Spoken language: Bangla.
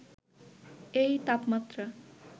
এই তাপমাত্রা